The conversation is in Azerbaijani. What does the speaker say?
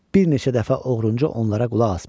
Bir neçə dəfə oğrunca onlara qulaq asmışam.